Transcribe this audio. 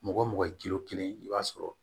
Mɔgɔ mɔgɔ kelen o kelen i b'a sɔrɔ